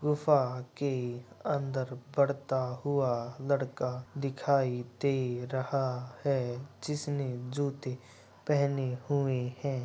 गुफा के अंदर पड़ता हुआ लड़का दिखाई दे रहा है जिसनें जूते पहने हुए हैं।